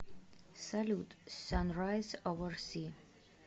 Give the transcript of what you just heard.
салют санрайз овер си